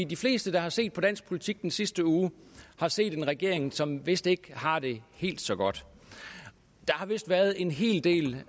de fleste der har set på dansk politik i den sidste uge har set en regering som vist ikke har det helt så godt der har vist været en hel del